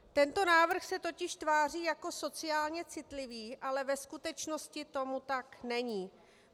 Tento návrh se totiž tváří jako sociálně citlivý, ale ve skutečnosti tomu tak není.